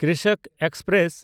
Krishak express